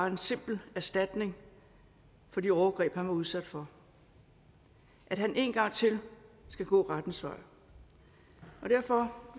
en simpel erstatning for de overgreb han var udsat for at han en gang til skal gå rettens vej derfor